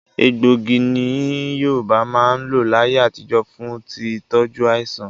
Egbògi ni Yorùbá máa ń lò láyé àtijó fún tí tọju àìsàn.